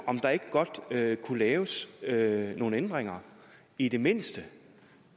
om der ikke godt kunne laves laves nogle ændringer i det mindste